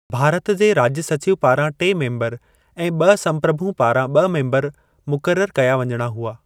भारत जे राज्य सचिव पारां टे मेम्बर ऐं ॿ संप्रभू पारां ॿ मेम्बर मुक़रर कया वञणा हुआ।